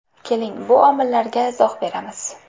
Keling, bu omillarga izoh beramiz.